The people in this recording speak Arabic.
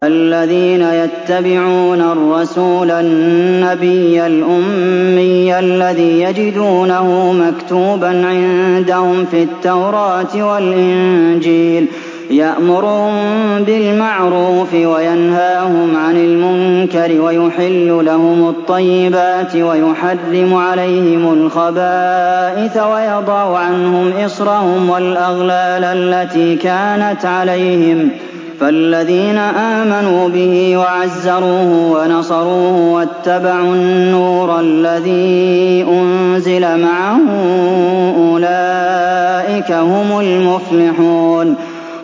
الَّذِينَ يَتَّبِعُونَ الرَّسُولَ النَّبِيَّ الْأُمِّيَّ الَّذِي يَجِدُونَهُ مَكْتُوبًا عِندَهُمْ فِي التَّوْرَاةِ وَالْإِنجِيلِ يَأْمُرُهُم بِالْمَعْرُوفِ وَيَنْهَاهُمْ عَنِ الْمُنكَرِ وَيُحِلُّ لَهُمُ الطَّيِّبَاتِ وَيُحَرِّمُ عَلَيْهِمُ الْخَبَائِثَ وَيَضَعُ عَنْهُمْ إِصْرَهُمْ وَالْأَغْلَالَ الَّتِي كَانَتْ عَلَيْهِمْ ۚ فَالَّذِينَ آمَنُوا بِهِ وَعَزَّرُوهُ وَنَصَرُوهُ وَاتَّبَعُوا النُّورَ الَّذِي أُنزِلَ مَعَهُ ۙ أُولَٰئِكَ هُمُ الْمُفْلِحُونَ